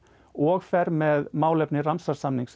og fer með málefni